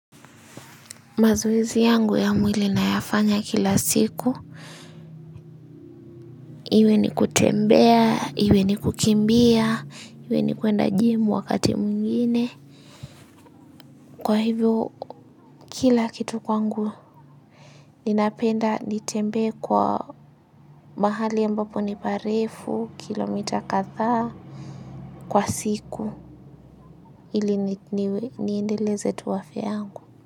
Mazoezi yangu ya mwili nayafanya kila siku. Iwe ni kutembea, iwe ni kukimbia, iwe ni kuenda jimu wakati mwingine. Kwa hivo kila kitu kwangu, ninapenda nitembee kwa mahali ambapo ni parefu, kilomita kathaa, kwa siku ili ni ni niendeleze tu afya yangu.